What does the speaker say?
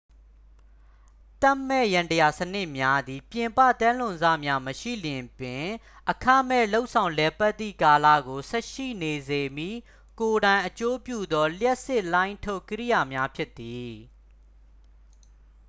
သက်မဲ့ယန္တရားစနစ်များသည် ပြင်ပသဲလွန်စများမရှိလျှင်ပင် အခမဲ့လုပ်ဆောင်လည်ပတ်သည့်ကာလကို ဆက်ရှိနေစေမည့် ကိုယ်တိုင်အကျိုးပြုသော လျှပ်စစ်လှိုင်းထုတ် ကိရိယာများဖြစ်သည်